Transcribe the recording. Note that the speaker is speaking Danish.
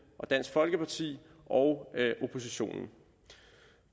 og dansk folkeparti og oppositionen